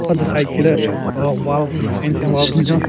Ro tsü side ki le aah wall fancing wall binyon.